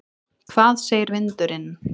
Hvað segir vindurinn?